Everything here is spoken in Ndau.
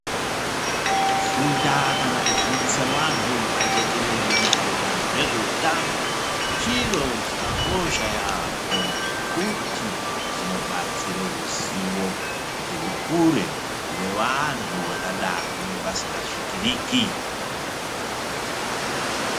Kufunda kana kufundisa wanhu pajekerere maererano nezveutano chiro chakakosha yaemho ngokuti zvinobatsire ruzivo kuti rukure mune vanhu vangadani vasinga svikiriki.